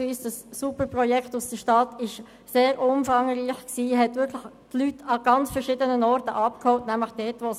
Primano, das super Projekt der Stadt Bern, war sehr umfangreich und hat die Leute dort abgeholt, wo es notwendig war.